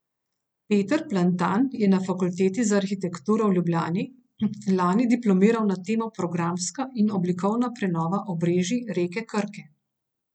Peter Plantan je na Fakulteti za arhitekturo v Ljubljani lani diplomiral na temo Programska in oblikovna prenova obrežij reke Krke.